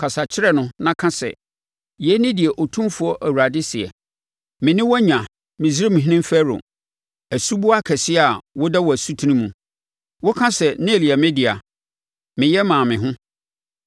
Kasa kyerɛ no na ka sɛ: ‘Yei ne deɛ Otumfoɔ Awurade seɛ. “ ‘Me ne wo anya, Misraimhene Farao asuboa kɛseɛ a woda wo asutene mu.’ ” Woka sɛ, “Nil yɛ me dea; meyɛ maa me ho.”